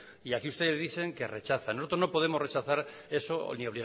y aquí ustedes dicen que rechazan nosotros no podemos rechazar eso ni